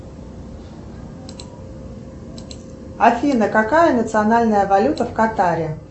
афина какая национальная валюта в катаре